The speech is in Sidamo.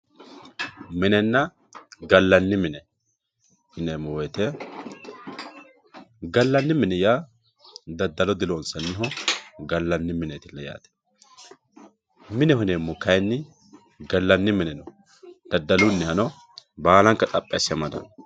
minenna gallanni mine yineemmo woyte galanni mini yaa daddalo diloonsanniho gallanni mineeti yaate mineho yineemmohu kayinni allanni mineno baalanka gamba asse amadanno